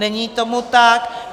Není tomu tak.